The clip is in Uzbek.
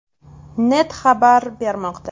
net” xabar bermoqda .